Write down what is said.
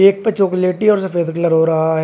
एक पे चॉकलेटी और सफेद कलर हो रहा है।